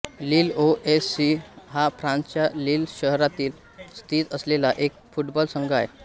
लील O S C हा फ्रान्सच्या Lille शहरात स्थित असलेला एक फुटबॉल संघ आहे